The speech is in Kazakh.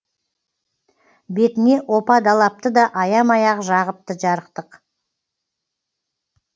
бетіне опа далапты да аямай ақ жағыпты жарықтық